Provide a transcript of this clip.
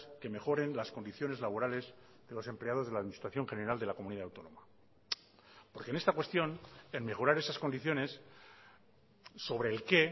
que mejoren las condiciones laborales de los empleados de la administración general de la comunidad autónoma porque en esta cuestión en mejorar esas condiciones sobre el qué